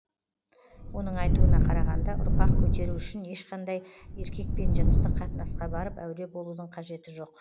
оның айтуына қарағанда ұрпақ көтеру үшін ешқандай еркекпен жыныстық қатынасқа барып әуре болудың қажеті жоқ